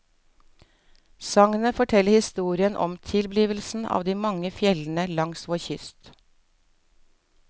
Sagnet forteller historien om tilblivelsen av de mange fjellene langs vår kyst.